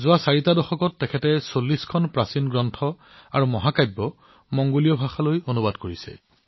যোৱা ৪ টা দশকত তেওঁ ভাৰতৰ প্ৰায় ৪০ খন প্ৰাচীন গ্ৰন্থ মহাকাব্য আৰু কৰ্ম মংগোলীয় ভাষালৈ অনুবাদ কৰিছে